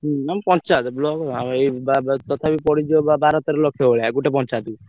ହୁଁ ମାନେ ପଞ୍ଚାୟତ Block ତଥାପି ପଡିଯିବ ବାର ତେର ଲକ୍ଷ ଭଳିଆ ଗୋଟେ ପଞ୍ଚାୟତ କୁ।